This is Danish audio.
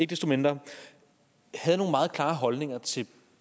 desto mindre havde nogle meget klare holdninger til